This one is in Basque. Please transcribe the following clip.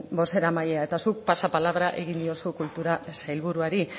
bozeramailea eta zuk pasapalabra egin diozu kultura sailburuari